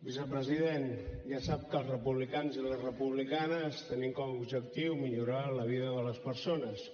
vicepresident ja sap que els republicans i les republicanes tenim com a objectiu millorar la vida de les persones